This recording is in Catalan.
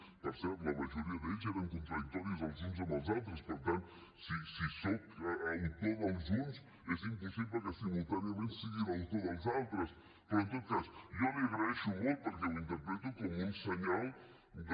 per cert la majoria d’ells eren contradictoris els uns amb els altres per tant si sóc autor dels uns és impossible que simultàniament sigui l’autor dels altres però en tot cas jo li ho agraeixo molt perquè ho interpreto com un senyal de